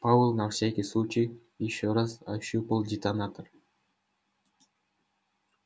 пауэлл на всякий случай ещё раз ощупал детонатор